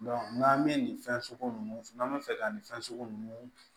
n'an bɛ nin fɛn sugu ninnu n'an bɛ fɛ ka nin fɛn sugu ninnu